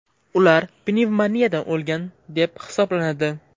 Ular pnevmoniyadan o‘lgan deb hisoblanadi.